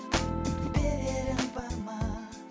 берерім бар ма